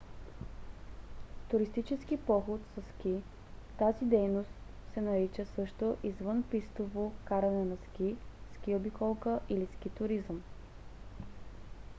туристически поход със ски: тази дейност се нарича също извънпистово каране на ски ски обиколка или ски туризъм